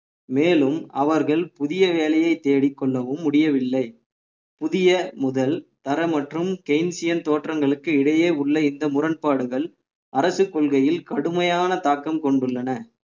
மேலும் அவர்கள் புதிய வேலையை தேடிக் கொள்ளவும் முடியவில்லை புதிய முதல் தரம் மற்றும் தோற்றங்களுக்கு இடையே உள்ள இந்த முரண்பாடுகள் அரசு கொள்கையில் கடுமையான தாக்கம் கொண்டுள்ளன